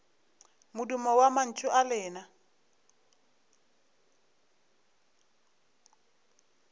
modumo wa mantšu a lena